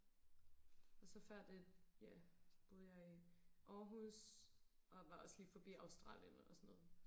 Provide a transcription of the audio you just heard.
og så før det ja boede jeg i Aarhus og var også lige forbi Australien og sådan noget